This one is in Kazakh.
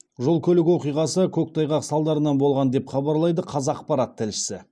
жол көлік оқиғасы көктайғақ салдарынан болған деп хабарлайды қазақпарат тілшісі